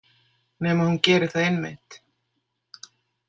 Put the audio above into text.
Nema hún geri það einmitt.